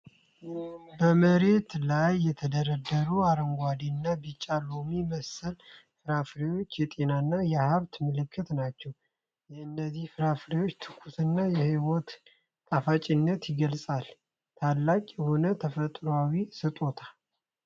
በመሬት ላይ የተደረደሩት አረንጓዴ እና ቢጫ ሎሚ መሰል ፍራፍሬዎች የጤናና የሃብት ምልክት ናቸው። የእነዚህ ፍሬዎች ትኩስነት የህይወትን ጣፋጭነት ይገልጻል። ታላቅ የሆነ ተፈጥሯዊ ስጦታ!